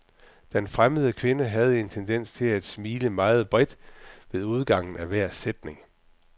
Den fremmede kvinde havde en tendens til at smile meget bredt ved udgangen af hver sætning.